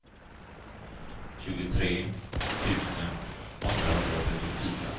tjugotre tusen åttahundratrettiofyra